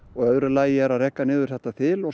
öðru lagi að reka niður þetta þil og